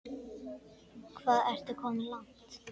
Hvað ertu komin langt?